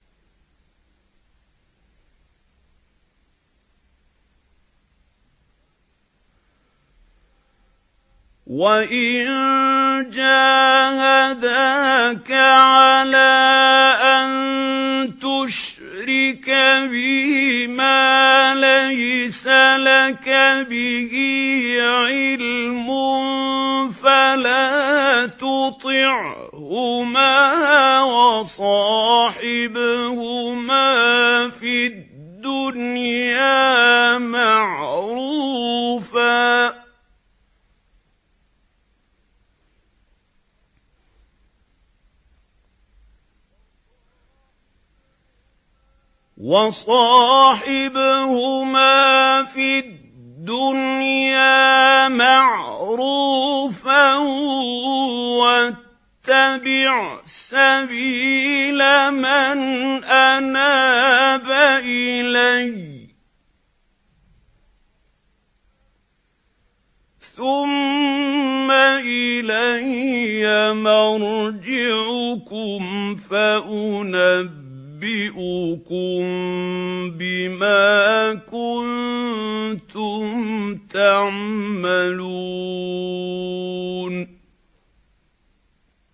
وَإِن جَاهَدَاكَ عَلَىٰ أَن تُشْرِكَ بِي مَا لَيْسَ لَكَ بِهِ عِلْمٌ فَلَا تُطِعْهُمَا ۖ وَصَاحِبْهُمَا فِي الدُّنْيَا مَعْرُوفًا ۖ وَاتَّبِعْ سَبِيلَ مَنْ أَنَابَ إِلَيَّ ۚ ثُمَّ إِلَيَّ مَرْجِعُكُمْ فَأُنَبِّئُكُم بِمَا كُنتُمْ تَعْمَلُونَ